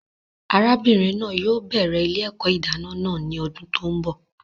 Arábìnrin náà yóò bẹrẹ ilé-èkó ìdáná náà ní ọdún tó n bọ